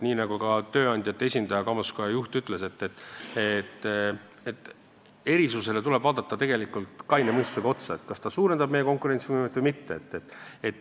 Nii nagu ka tööandjate esindaja, kaubanduskoja juht ütles, erisusele tuleb vaadata kaine mõistusega otsa ja vaadata, kas ta suurendab meie konkurentsivõimet või mitte.